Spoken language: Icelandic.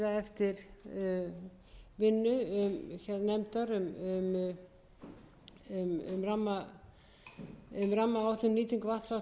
nefndar um rammaáætlun um nýtingu vatnsafls og jarðvarma með tilliti til hugsanlegra